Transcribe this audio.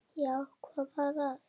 Já, hvað var að?